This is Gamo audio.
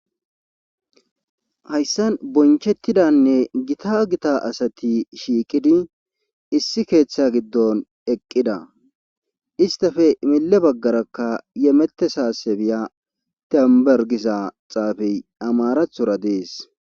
hayssan bonchettidanne gita gita asati shiiqidi issi keeththa giddon eqqida istafe mille baggarakka yemette saasebiya tembergisa xaafey amarathora dees